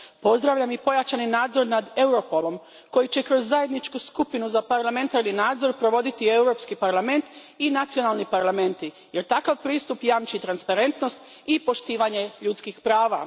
Pozdravljam i pojačani nadzor nad Europolom koji će kroz Zajedničku skupinu za parlamentarni nadzor provoditi Europski parlament i nacionalni parlamenti jer takav pristup jamči transparentnost i poštovanje ljudskih prava.